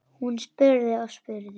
Hún spurði og spurði.